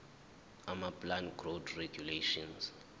amaplant growth regulators